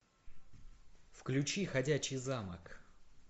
включи ходячий замок